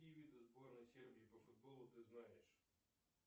какие виды сборной сербии по футболу ты знаешь